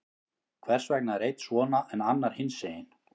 Hvers vegna er einn svona, en annar hinsegin?